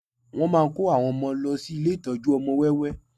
Wọ́n máa kó àwọn ọmọ lọ sí ilé ìtọ́jú ọmọ wẹ́wẹ́